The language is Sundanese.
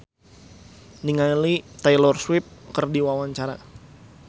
Ingrid Kansil olohok ningali Taylor Swift keur diwawancara